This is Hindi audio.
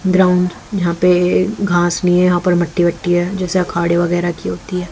ग्राउंड यहां पे घास नहीं हैं यहां पर मट्टी वट्टी हैं जैसे अखाड़े वगैरा की होती हैं।